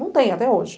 Não tem até hoje.